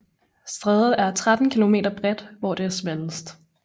Strædet er 13 km bredt hvor det er smallest